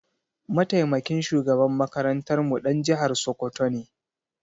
Mataimakin shugaban makarantarmu ɗan jihar Sokoto ne.